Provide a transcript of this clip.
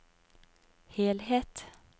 helhet